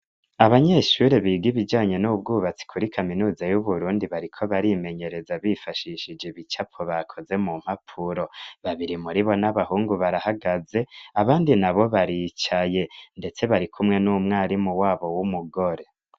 Abanyeshuri biga ibijanye n'ubwubatsi kuri kaminuza y'uburundi bariko barimenyereza bifashishije ibicapo bakoze mu mpapuro babiri muri bo n'abahungu barahagaze abandi na bo baricaye, ndetse bari kumwe n'umwarimu wabo w'umugore.